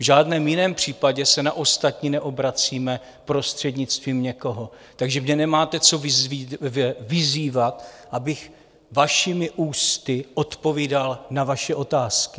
V žádném jiném případě se na ostatní neobracíme prostřednictvím někoho, takže mě nemáte co vyzývat, abych vašimi ústy odpovídal na vaše otázky.